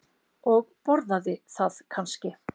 Og borðaði það kannski?